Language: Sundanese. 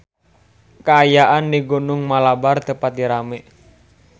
Kaayaan di Gunung Malabar teu pati rame